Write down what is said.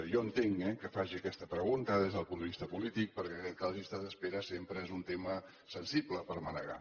jo entenc eh que faci aquesta pregunta des del punt de vista polític perquè crec que les llistes d’espera sempre són un tema sensible per manegar